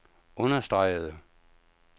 understregede